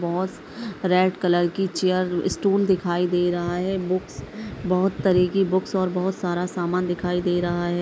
बोहोत red colour की chair stool दिखाई दे रहा है बुक्स बोहत तरे कि बुक्स और बोहत सारा सामान दिखाई दे रहा है।